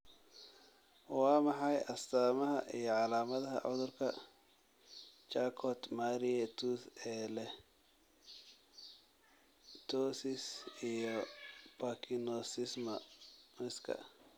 Waa maxay astamaha iyo calaamadaha cudurka Charcot Marie Tooth ee leh ptosis iyo parkinsonismka?